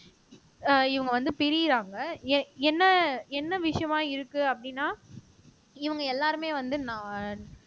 அஹ் இவங்க வந்து பிரியுறாங்க என்ன என்ன விஷயமா இருக்கு அப்படின்னா இவங்க எல்லாருமே வந்து நான்